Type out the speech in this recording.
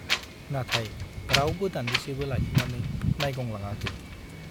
नाथाय रावबो दान्दिसेबो लाखिनानै नाइगंलाङाखै ।